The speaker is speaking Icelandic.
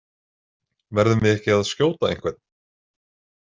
Verðum við ekki að skjóta einhvern?